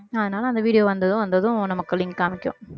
அதனால அந்த video வந்ததும் வந்ததும் நமக்கு link காமிக்கும்